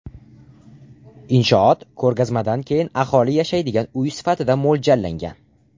Inshoot ko‘rgazmadan keyin aholi yashaydigan uy sifatida mo‘ljallangan.